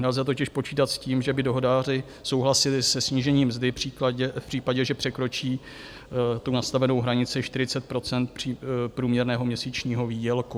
Nelze totiž počítat s tím, že by dohodáři souhlasili se snížením mzdy v případě, že překročí tu nastavenou hranici 40 % průměrného měsíčního výdělku.